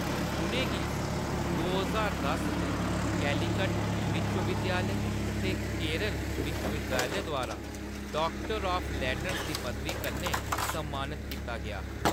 उʼनें गी दो ज्हार दस च कैलीकट विश्वविद्यालय ते केरल विश्वविद्यालय द्वारा डाक्टर ऑफ़ लेटर्स दी पदवी कन्नै सम्मानत कीता गेआ हा।